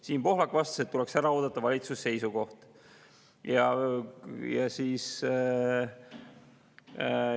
Siim Pohlak vastas, et valitsuse seisukoht tuleks ära oodata.